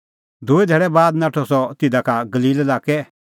दूई धैल़ै बाद नाठअ सह तिधा का गलील लाक्कै लै